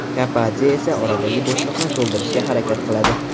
Kapadze esa oradagi bo‘shliqni to‘ldirishga harakat qiladi.